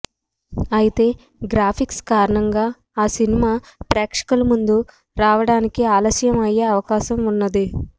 అయితే గ్రాఫిక్స్ కారణంగా ఆ సినిమా ప్రేక్షకుల ముందుకు రావడానికి ఆలస్యం అయ్యే అవకాశం ఉన్నది